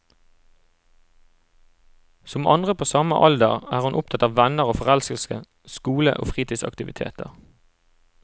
Som andre på samme alder, er hun opptatt av venner og forelskelse, skole og fritidsaktiviteter.